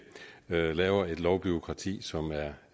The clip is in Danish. at lave et lovbureaukrati som